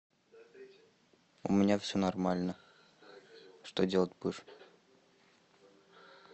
у меня все нормально что делать будешь